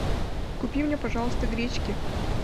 купи мне пожалуйста гречки